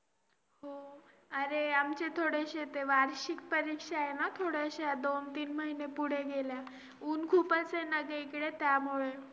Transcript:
Deviation ,preferential, reduction शिकवतात सध्या